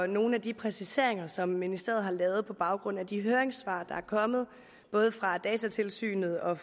nogle af de præciseringer som ministeriet har lavet på baggrund af de høringssvar der er kommet både fra datatilsynet og